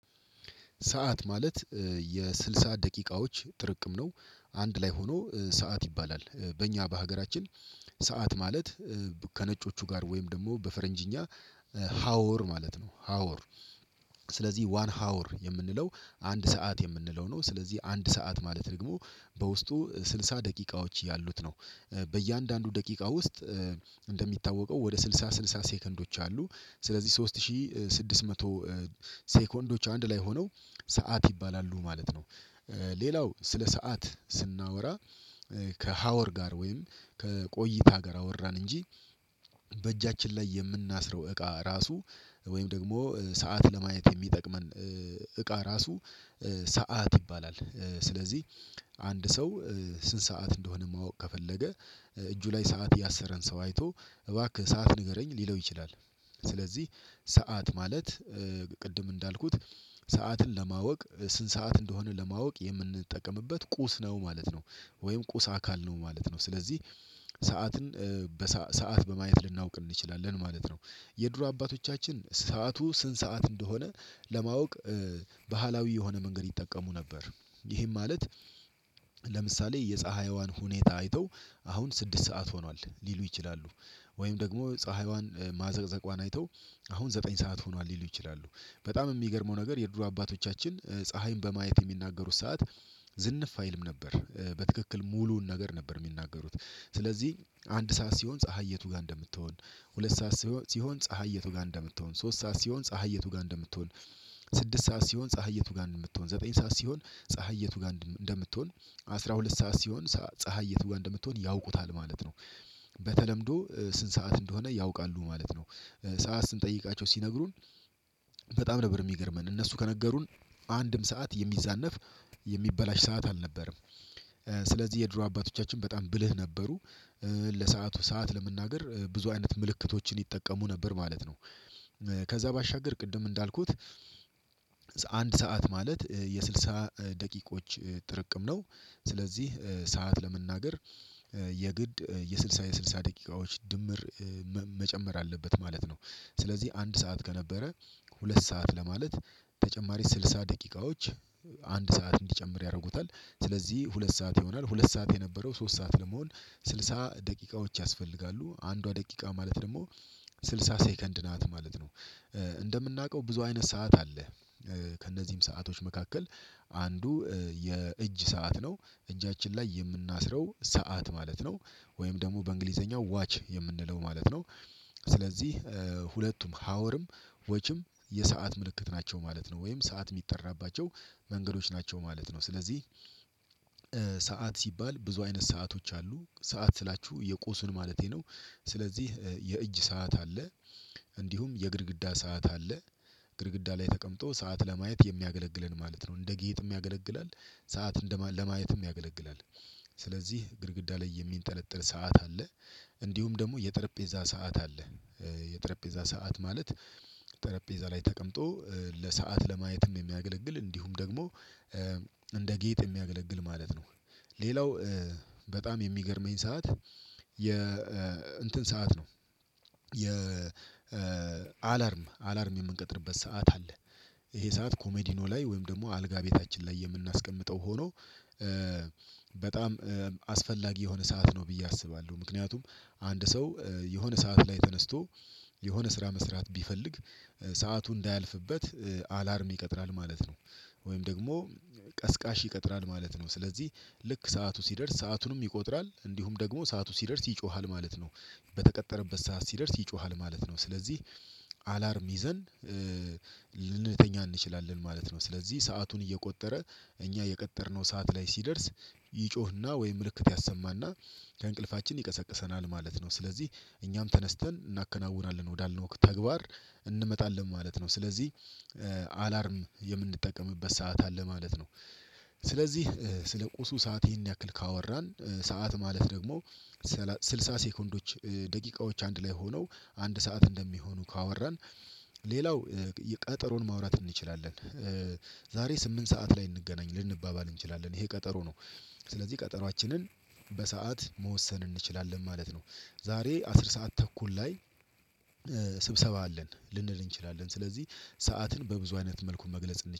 ሰዓት ማለት የስልሳ ደቂቃዎች ጥርቅም ነው። አንድ ላይ ሆኖ ሰዓት ይባላል በእኛ በሀገራችን ሰዓት ማለት ከነጮቹ ጋር ወይም ደግሞ በፈረንጅኛ ሀወር ማለት ነው። ሀወር ስለዚህ ዋን ሀወር የምንለው አንድ ሰዓት የምንለው ነው። ስለዚህ አንድ ሰዓት ማለት ደግሞ በውስጡ ስልሳ ደቂቃዎች ያሉት ነው። በእያንዳንዱ ደቂቃ ውስጥ እንደሚታወቀው ወደ ስልሳ ስልሳ ሴከንዶች አሉ ስለዚህ ሶስት ሺህ ስድስት መቶ ሴኮንዶች አንድ ላይ ሆነው ሰዓት ይባላሉ ማለት ነው። ሌላው ስለ ሰዓት ስናወራ ከሀወር ጋር ወይም ከቆይታ ጋር አወራን እንጂ በእጃችን ላይ የምናስረው እቃ ራሱ ወይም ደግሞ ሰዓት ለማየት የሚጠቅመን እቃ ራሱ ሰዓት ይባላል። ስለዚህ አንድ ሰው ስንት ሰዓት እንደሆነ ማወቅ ከፈለገ እጁ ላይ ሰዓት ያሰረን ሰው አይቶ እባክህ ሰዓት ንገረኝ ሊለው ይችላል። ስለዚህ ሰዓት ማለት ቅድም እንዳልኩት ሰዓትን ለማወቅ ስንት ሰዓት እንደሆነ ለማወቅ የምንጠቀምበት ቁስ ነው ማለት ነው። ወይም ቁስ አካል ነው ማለት ነው ስለዚህ ሰዓትን በሰአት በማየት ልናውቅ እንችላለን ማለት ነው። የድሮ አባቶቻችን ሰዓቱ ስንት ሰዓት እንደሆነ ለማወቅ ባህላዊ የሆነ መንገድ ይጠቀሙ ነበር። ይሄም ማለት ለምሳሌ የፀሀይዋን ሁኔታ አይተው አሁን ስድስት ሰዓት ሆኗል ሊሉ ይችላሉ። ወይም ደግሞ ፀሀይዋን ማዘቅዘቋን አይተው አሁን ዘጠኝ ሰዓት ሆኗል ሊሉ ይችላሉ። በጣም የሚገርመው ነገር የድሮ አባቶቻችን ፀሀይን በማየት የሚናገሩት ሰዓት ዝንፍ አይልም ነበር በትክክል ሙሉውን ነገር ነበር የሚናገሩት። ስለዚህ አንድ ሰዓት ሲሆን ፀሀይ የቱ ጋር እንደምትሆን ሁለት ሰዓት ሲሆን ፀሀይ የቱ ጋር እንደምትሆን ሶስት ሰዓት ሲሆን ፀሀይ የቱ ጋር እንደምትሆን ስድስት ሰዓት ሲሆን ፀሀይ የቱ ጋር እንደምትሆን ዘጠኝ ሰዓት ሲሆን ፀሀይ የቱ ጋር እንደምትሆን አስራ ሁለት ሰዓት ሲሆን ፀሀይ የቱ እንደምትሆን ያውቁታል ማለት ነው። በተለምዶ ስንት ሰዓት እንደሆነ ያውቃሉ ማለት ነው። ሰዓት ስንጠይቃቸው ሲነግሩን በጣም ነበር የሚገርመን እነሱ ከነገሩን አንድም ሰዓት የሚዛነፍ የሚበላሽ ሰዓት አልነበረም። ስለዚህ የድሮ አባቶቻችን በጣም ብልህ ነበሩ። ለሰአቱ ሰዓት ለመናገር ብዙ አይነት ምልክቶችን ይጠቀሙ ነበር ማለት ነው። ከዛ ባሻገር ቅድም እንዳልኩት አንድ ሰዓት ማለት የስልሳ ደቂቆች ጥርቅም ነው። ስለዚህ ሰዓት ለመናገር የግድ የስድሳ የስድሳ ደቂቃዎች ድምር መጨመር አለበት ማለት ነው። ስለዚህ አንድ ሰዓት ከነበረ ሁለት ሰዓት ለማለት ተጨማሪ ስልሳ ደቂቃዎች አንድ ሰዓት እንዲጨምር ያደርጉታል ስለዚህ ሁለት ሰዓት ይሆናል። ሁለት ሰዓት የነበረው ሶስት ሰዓት ለመሆን ስልሳ ደቂቃዎች ያስፈልጋሉ አንዷ ደቂቃ ማለት ደግሞ ስልሳ ሴከንድ ናት ማለት ነው። እንደምናውቀው ብዙ አይነት ሰዓት አለ። ከእነዚህም ሰአቶች መካከል አንዱ የእጅ ሰዓት ነው እጃችን ላይ የምናስረው ሰዓት ማለት ነው። ወይም ደግሞ በእንግሊዘኛው ዋች የምንለው ማለት ነው። ስለዚህ ሁለቱም ሀወርም ወጪም የሰዓት ምልክት ናቸው ማለት ነው ወይም ሰዓት የሚጠራባቸው መንገዶች ናቸው ማለት ነው። ስለዚህ ሰዓት ሲባል ብዙ አይነት ሰአቶች አሉ ሰዓት ስላችሁ የቆሱን ማለቴ ነው። ስለዚህ የእጅ ሰዓት አለ። እንዲሁም የግድግዳ ሰዓት አለ። ግድግዳ ላይ ተቀምጦ ሰዓት ለማየት የሚያገለግለን ማለት ነው እንደ ጌጥም ያገለግላል። ሰዓት እንደ ለማየትም ያገለግላል። ስለዚህ ግድግዳ ላይ የሚንጠለጥል ሰዓት አለ። እንዲሁም ደግሞ የጠረጴዛ ሰዓት አለ። የጠረጴዛ ሰዓት ማለት ጠረጴዛ ላይ ተቀምጦ ለሰአት ለማየትም የሚያገለግል እንዲሁም ደግሞ እንደ ጌጥ የሚያገለግል ማለት ነው። ሌላው በጣም የሚገርመኝ ሰዓት የ እንትን ሰዓት ነው። የ አላርም አላርም የምንቀጥርበት ሰዓት አለ። ይሄ ሰዓት ኮሜዲኖ ላይ ወይም ደግሞ አልጋ ቤታችን ላይ የምናስቀምጠው ሆኖ በጣም አስፈላጊ የሆነ ሰዓት ነው። ብዬ አስባለሁ ምክንያቱም አንድ ሰው የሆነ ሰዓት ላይ ተነስቶ የሆነ ስራ መስራት ቢፈልግ ሰዓቱ እንዳያልፍበት አላርም ይቀጥራል ማለት ነው። ወይም ደግሞ ቀስቃሽ ይቀጥራል ማለት ነው። ስለዚህ ልክ ሰዓቱ ሲደርስ ሰአቱንም ይቆጥራል እንዲሁም ደግሞ ሰዓቱ ሲደርስ ይጮሃል ማለት ነው። በተቀጠረበት ሰዓት ሲደርስ ይጮሃል ማለት ነው። ስለዚህ አላርም ይዘን ልንተኛ እንችላለን ማለት ነው። ስለዚህ ሰአቱን እየቆጠረ እኛ የቀጠርነው ሰዓት ላይ ሲደርስ ይጮህና ወይም ምልክት ያሰማና ከእንቅልፋችን ይቀሰቅሰናል ማለት ነው። ስለዚህ እኛም ተነስተን እናከናውናለን ወዳልነው ተግባር እንመጣለን ማለት ነው። ስለዚህ አላርም የምንጠቀምበት ሰዓታን ለማለት ነው። ስለዚህ ስለ ቁሱ ሰዓት ይሄን ያክል ካወራን ሰዓት ማለት ደግሞ ስልሳ ሴኮንዶች ደቂቃዎች አንድ ላይ ሆነው አንድ ሰዓት እንደሚሆኑ ካወራን ሌላው የቀጠሮን ማውራት እንችላለን። ዛሬ ስምንት ሰዓት ላይ እንገናኝ ልንባባል እንችላለን ይሄ ቀጠሮ ነው። ስለዚህ ቀጠሯችንን በሰአት መወሰን እንችላለን ማለት ነው። ዛሬ አስር ሰዓት ተኩል ላይ ስብሰባ አለን ልንል እንችላለን ስለዚህ ሰዓትን በብዙ አይነት መልኩ መግለጽ